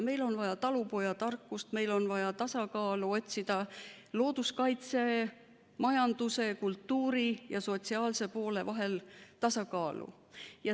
Meil on vaja talupojatarkust, meil on vaja otsida tasakaalu looduskaitse, majanduse, kultuuri ja sotsiaalse poole vahel.